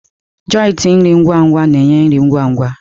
Joịtị nri ngwa-ngwa na-enye nri ngwa ngwa.